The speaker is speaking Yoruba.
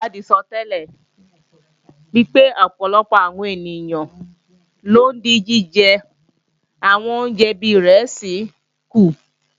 Àwọn onìwádìí sọtẹ́lẹ̀ pé ọ̀pọ̀lọpọ̀ àwọn èèyàn ló ń dín jíjẹ àwọn oúnjẹ bí ìrẹsì kù